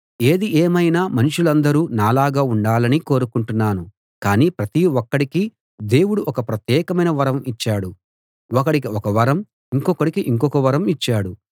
ఏది ఏమైనా మనుషులందరూ నాలాగా ఉండాలని కోరుకుంటున్నాను కానీ ప్రతి ఒక్కడికీ దేవుడు ఒక ప్రత్యేకమైన వరం ఇచ్చాడు ఒకడికి ఒక వరం ఇంకొకడికి ఇంకొక వరం ఇచ్చాడు